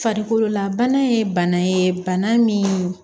Farikololabana ye bana ye bana min